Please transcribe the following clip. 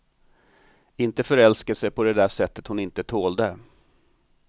Inte förälskelse på det där sättet hon inte tålde.